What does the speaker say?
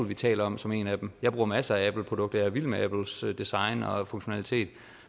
vi taler om som en af dem jeg bruger masser af appleprodukter er vild med apples design og funktionalitet